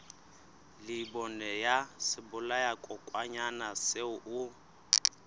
leibole ya sebolayakokwanyana seo o